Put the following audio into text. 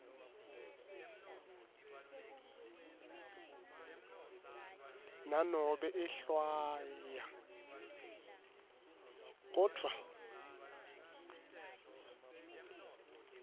nanobe ehlwaya kodvwa